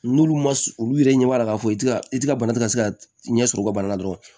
N'olu ma olu yɛrɛ ɲɛ b'a la k'a fɔ i tɛ ka i ti ka bana te ka se ka ɲɛsɔrɔ u ka bana la dɔrɔn